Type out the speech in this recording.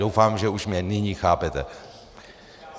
Doufám, že už mě nyní chápete.